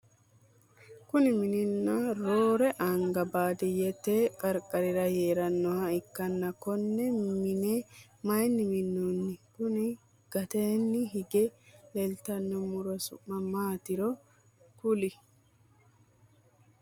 Kunni minni roore anga baadiyete qarqarira heeranoha ikanna konne minne mayinni minnanni? Konni gateenni hige leeltano muro su'ma maatiro kuli?